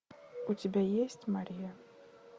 у тебя есть мария